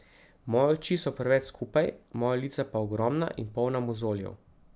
Moje oči so preveč skupaj, moja lica pa ogromna in polna mozoljev.